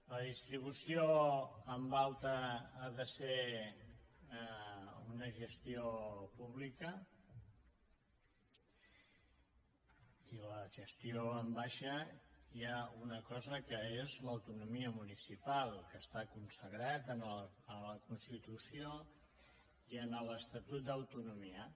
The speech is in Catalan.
la distribució en alta ha de ser una gestió pública i per a la gestió en baixa hi ha una cosa que és l’autonomia municipal que està consagrada en la constitució i en l’estatut d’autonomia